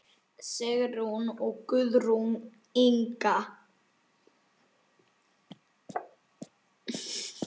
Sigrún og Guðrún Inga.